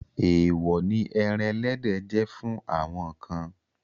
Èèwọ̀ ni ẹran ẹlẹ́dẹ̀ jẹ́ fún àwọn kan.